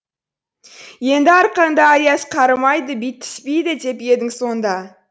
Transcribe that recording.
енді арқаңды аяз қарымайды бит теспейді деп едің сонда